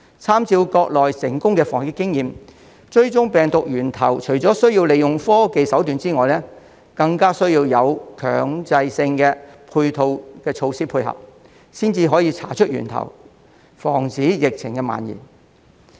參照國內成功的防疫經驗，追蹤病毒源頭除了需要利用科技手段外，更需要有強制性的配套措施配合，才可以查出源頭，防止疫情蔓延。